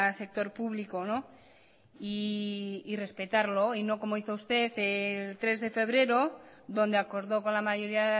sector público y respetarlo y no como hizo usted el tres de febrero donde acordó con la mayoría